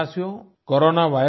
मेरे प्यारे देशवासियों